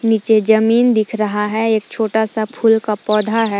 नीचे जमीन दिख रहा है एक छोटा सा फूल का पौधा है।